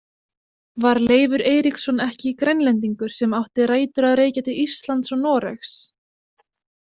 Var Leifur Eiríksson ekki Grænlendingur sem átti rætur að rekja til Íslands og Noregs?